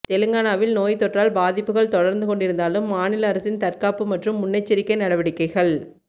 தெலுங்கானாவில் நோய் தொற்றால் பாதிப்புகள் தொடர்ந்து கொண்டிருந்தாலும் மாநில அரசின் தற்காப்பு மற்றும் முன்னெச்சரிக்கை நடவடிக்கைகள்